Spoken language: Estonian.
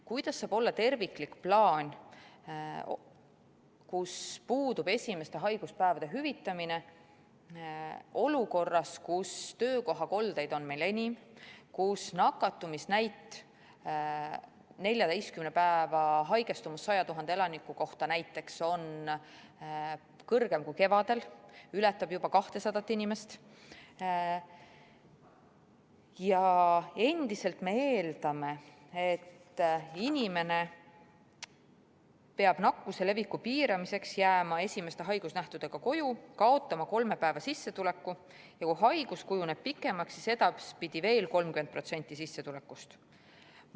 Kuidas saab olla terviklik plaan, kus puudub esimeste haiguspäevade hüvitamine olukorras, kus töökohakoldeid on meil enim, kus nakatumisnäit, 14 päeva haigestumus 100 000 elaniku kohta näiteks on kõrgem kui kevadel, ületab juba 200 inimest, ja me endiselt eeldame, et inimene peab nakkuse leviku piiramiseks jääma esimeste haigusnähtudega koju, kaotama kolme päeva sissetuleku ja kui haigus kujuneb pikemaks, siis edaspidi veel 30% sissetulekust?